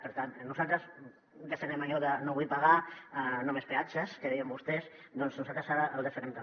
per tant nosaltres defensem allò de no vull pagar no més peatges que deien vostès doncs nosaltres ara ho defensem també